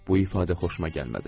Bu ifadə xoşuma gəlmədi.